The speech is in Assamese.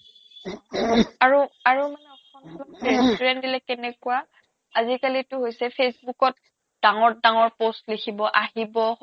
আৰু আৰু মানে restaurant দিলে কেনেকুৱা আজিকালিটো হৈছে facebook ত ডাঙৰ ডাঙৰ post লিখিব আহিব